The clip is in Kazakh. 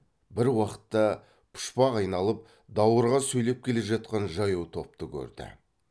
бір уақытта пұшпақ айналып даурыға сөйлеп келе жатқан жаяу топты көрді